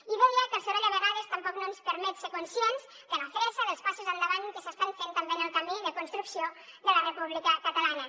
i deia que el soroll a vegades tampoc no ens permet ser conscients de la fressa dels passos endavant que s’estan fent també en el camí de construcció de la república catalana